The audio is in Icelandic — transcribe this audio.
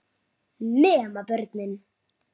Nema börnin.